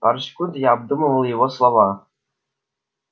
пару секунд я обдумывал его слова